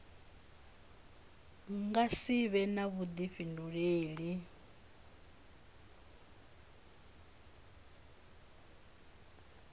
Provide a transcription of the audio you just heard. nga si vhe na vhuḓifhinduleli